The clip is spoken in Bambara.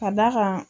Ka d'a kan